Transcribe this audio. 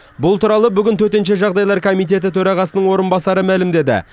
бұл туралы бүгін төтенше жағдайлар комитеті төрағасының орынбасары мәлемдеді